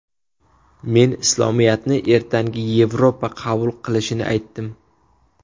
Men Islomiyatni ertangi Yevropa qabul qilishini aytdim.